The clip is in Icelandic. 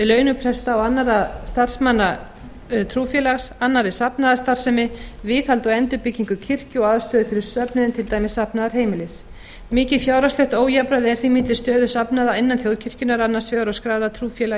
launum presta og annarra starfsmanna trúfélags annarri safnaðarstarfsemi viðhaldi og endurbyggingu kirkju og aðstöðu fyrir söfnuðinn til dæmis safnaðarheimilis mikið fjárhagslegt ójafnræði er því milli stöðu safnaða innan þjóðkirkjunnar annars vegar og skráðra trúfélaga